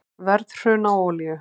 Verðhrun á olíu